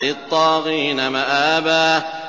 لِّلطَّاغِينَ مَآبًا